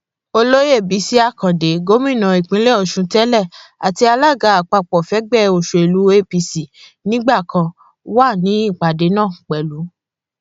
olóyè bisi akande gómìnà ìpínlẹ ọṣun tẹlẹ àti alága àpapọ fẹgbẹ òsèlú apc nígbà kan wà nípàdé náà pẹlú